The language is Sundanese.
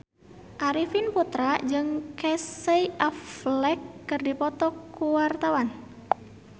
Arifin Putra jeung Casey Affleck keur dipoto ku wartawan